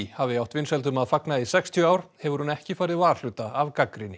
hafi átt vinsældum að fagna í sextíu ár hefur hún ekki farið varhluta af gagnrýni